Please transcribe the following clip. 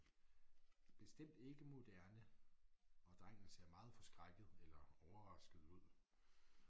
Bestemt ikke moderne og drengen ser meget forskrækket eller overrasket ud